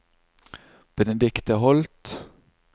Benedikte Holth